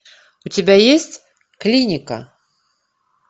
у тебя есть клиника